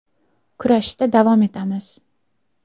Kurashda davom etamiz.